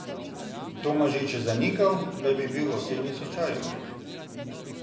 Tomažič je zanikal, da bi bil v osebnem stečaju.